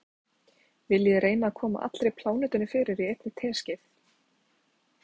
Viljiði reyna að koma allri plánetunni fyrir í einni teskeið.